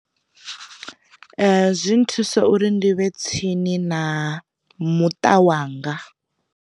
Zwi thusa uri ndi vhe tsini na muṱa wanga.